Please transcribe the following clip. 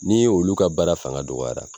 N'i ye olu ka baara fanga dɔgɔyara